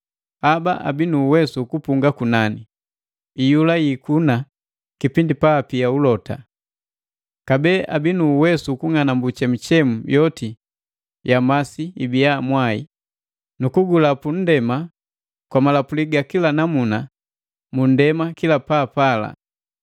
Haba abii nu uwesu ukupunga kunani, iyula jiikuna kipindi paapia ulota. Kabee abii nu uwesu ukung'anambu chemuchemu yoti ya masi ibiya mwai, nu kugulapu nndema kwa malapuli ga kila namuna mu nndema kila paapala.